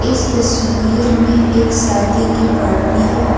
इस तस्वीर में एक शादी की पार्टी है।